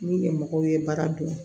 Ni mɔgɔw ye baara dɔn